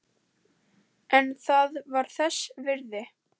En það var þess virði.